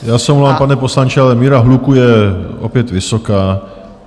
Já se omlouvám, pane poslanče, ale míra hluku je opět vysoká.